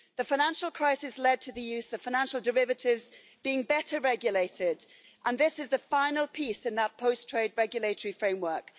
The financial crisis led to the use of financial derivatives being better regulated, and this is the final piece in that post trade regulatory framework.